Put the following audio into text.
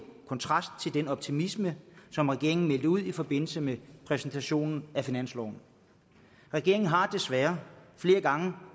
kontrast til den optimisme som regeringen meldte ud i forbindelse med præsentationen af finansloven regeringen har desværre flere gange